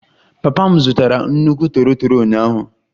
Papa m zụtara nnukwu toro toro ụnyaahụ